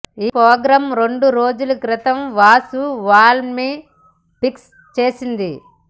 ఈ ప్రోగ్రామ్ రెండు రోజుల క్రితం వాసూ వాళ్లమ్మే ఫిక్స్ చేసింది